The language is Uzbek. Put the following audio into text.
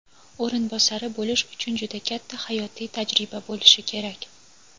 o‘rinbosari bo‘lish uchun juda katta hayotiy tajriba bo‘lishi kerak.